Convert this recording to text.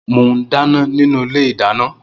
Moún dàná ninu ìlé ìdàná.